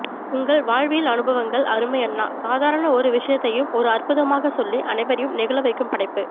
உங்கள் வாழ்வியல் அனுவங்கள் அருமை அண்ணா சாதரண ஒரு விஷயத்தையும் ஒரு அற்புதமாக சொல்லி அனைவரையும் நெகிழ வைக்கும் படைப்பு